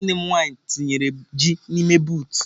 Nwanne m nwanyi tinyere ji n'ime buutụ.